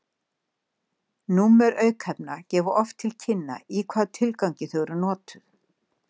Númer aukefna gefa oft til kynna í hvaða tilgangi þau eru notuð.